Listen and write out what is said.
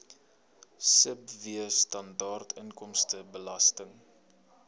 sibw standaard inkomstebelasting